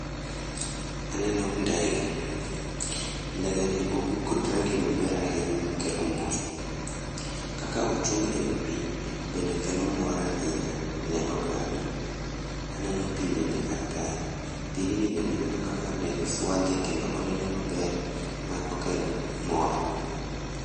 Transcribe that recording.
Aneno ndege. Ndege ni obuk kod rangi maber ahinya makelo mor. Kaka ochung' ewi pii, bende kelo mor ahinya ne oganda. Aneno pii bende kar kae. Pigni bende aneno kaka ndege fwadhe kendo oneno maber ma okelo mor